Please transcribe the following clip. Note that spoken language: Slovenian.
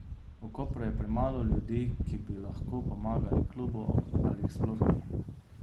V Kopru je premalo ljudi, ki bi lahko pomagali klubu ali jih sploh ni.